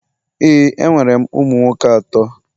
ee, enwere m ụmụ nwoke atọ.